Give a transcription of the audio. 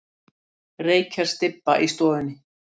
Reykjarstybba í stofunni.